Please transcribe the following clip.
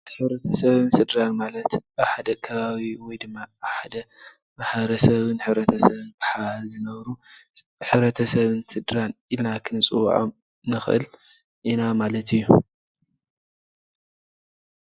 ሕብረተሰብን ስድራን ማለት ኣብ ሓደ ከባቢ ወይ ድማ ኣብ ሓደ ማሕበረሰብን ሕብረተሰብን ብሓባር ዝነብሩ ሕብረተሰብን ስድራን ኢልና ክንፅዉዖም ንኽእል ኢና ማለት እዩ፡፡